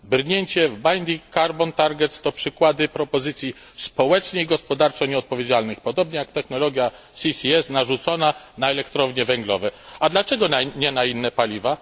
Brnięcie w binding carbon targets to przykłady propozycji społecznie i gospodarczo nieodpowiedzialnych, podobnie jak technologia CCS narzucona na elektrownie węglowe, a dlaczego nie na inne paliwa?